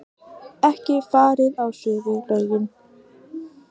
Ekki farið á svig við lögin